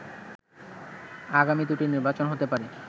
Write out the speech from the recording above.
আগামী দুটি নির্বাচন হতে পারে